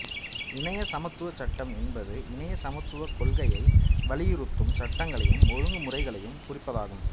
இணைய சமத்துவச் சட்டம் என்பது இணைய சமத்துவக் கொள்கையை வலியுறுத்தும் சட்டங்களையும் ஒழுங்கு முறைகளையும் குறிப்பதாகும்